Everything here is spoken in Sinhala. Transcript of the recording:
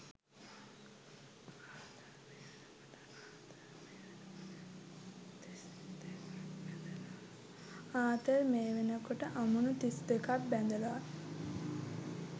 ආතර් මේ වෙනකොට අමුණු තිස් දෙකක් බැඳලා